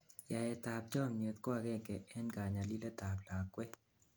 yaet ab chomyet ko agengei en kanyalilet ab lakwet